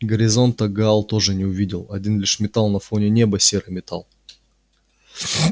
горизонта гаал тоже не увидел один лишь металл на фоне неба серый металл